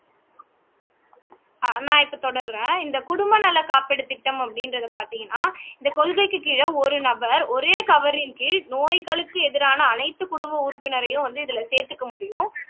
ஆஹ் நான் இப்போ தொடர்றேன் இந்த குடும்ப நல காப்பீடு திட்டம் அப்படின்றது பார்த்தீங்கன்னா இந்த கொள்கைக்கு கீழே ஒரு நபர் ஒரே கவரின் கீழ் நோய்களுக்கு எதிரான அனைத்து குடும்ப உறுப்பினரையும் வந்து இதுல சேர்த்துக்க முடியும்